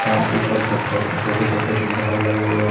ऊपर छत पर छोटे छोटे गुब्बारे लगे हुए हैं।